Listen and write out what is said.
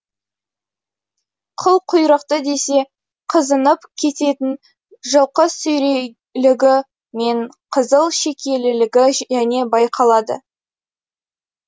қыл құйрықты десе қызынып кететін жылқысүрейлігі мен қызыл шекелілігі және байқалады